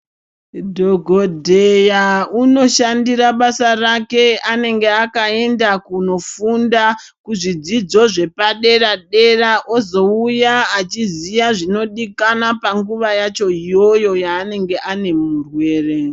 Dhogodheya unoshandira basa rake, unonga akaenda kundofunda kuzvidzidzo zvepadera-dera ozouya achiziya zvinodikanwa panguva yacho iyoyo yaanenge ane murwere.